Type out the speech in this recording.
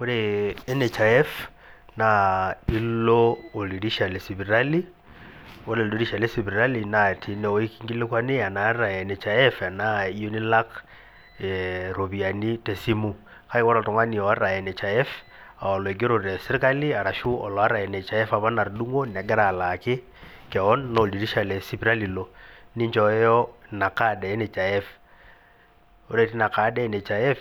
Ore NHIF naa ilo oldirisha le sipitali ore toldirisha lesipitali naa teineweji kinkilikwani ena iyata NHIF enaa iyieu nilak iropiyiani tesimu kake ore oltung'ani ooota NHIF oloigero teserkali orashu oloota NHIF apa natudumua negira alaaki kewon naa oldirisha lesipitali ilo nichoyo ina card e NHIF ore teina card ino e NHIF